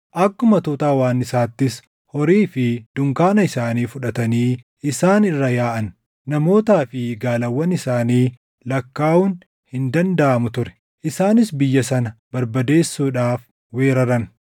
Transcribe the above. Akkuma tuuta hawwaannisaattis horii fi dunkaana isaanii fudhatanii isaan irra yaaʼan. Namootaa fi gaalawwan isaanii lakkaaʼuun hin dandaʼamu ture; isaanis biyya sana barbadeessuudhaaf weeraran.